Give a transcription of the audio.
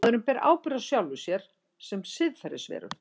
Maðurinn ber ábyrgð á sjálfum sér sem siðferðisveru.